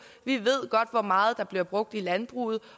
vi ved godt hvor meget der bliver brugt i landbruget